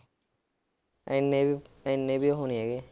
ਇੰਨੇ ਵੀ ਇੰਨੇ ਵੀ ਉਹ ਨੀ ਹੈਗੇ।